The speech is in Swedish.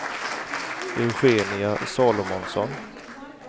Eugenia Salomonsson